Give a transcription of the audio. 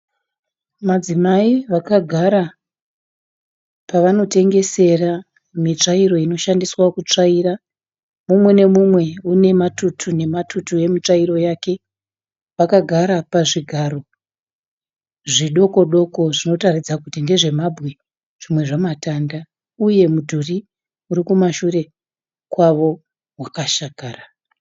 Madzimai vakagara pavanotengesera mitsvairo inoshandiswa kutsavaira, mumwe neumwe ane matutu- nematutu emitsvairo yake, vakagara pazvigaro zvidoko-doko zvinoratidza kuti ndezvemabwe nematanda, uye mudhuri uri kumashure kwavo wakashakara.